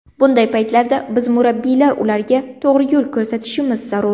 Bunday paytlarda biz murabbiylar ularga to‘g‘ri yo‘l ko‘rsatishimiz zarur.